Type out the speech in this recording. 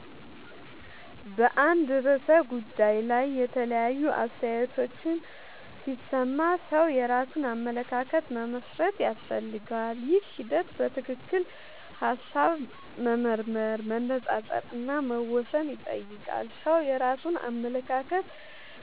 በአንድ ርዕሰ ጉዳይ ላይ የተለያዩ አስተያየቶችን ሲሰማ ሰው የራሱን አመለካከት መመስረት ያስፈልገዋል። ይህ ሂደት በትክክል ሐሳብ መመርመር፣ መነጻጸር እና መወሰን ይጠይቃል። ሰው የራሱን አመለካከት